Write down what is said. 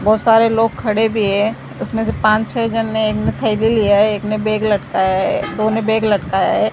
बहोत सारे लोग खड़े भी है उसमें से पांच छे जन ने एक ने थैली लिया है एक ने बैग लटकाया है दो ने बैग लटकाया है।